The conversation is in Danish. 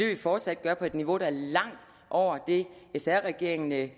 vi fortsat gøre på et niveau der er langt over det sr regeringen lagde